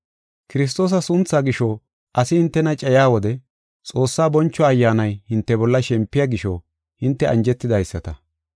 Kiristoosa sunthaa gisho asi hintena cayiya wode, Xoossaa boncho Ayyaanay hinte bolla shempiya gisho hinte anjetidaysata.